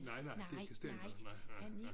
Nej nej det er ikke Stender nej nej nej